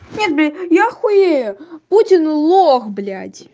нет бля я хуею путин лох блять